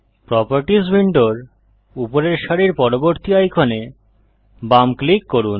properties উইন্ডোর উপরের সারির পরবর্তী আইকনে বাম ক্লিক করুন